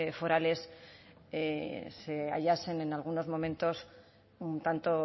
forales se hallasen en algunos momentos un tanto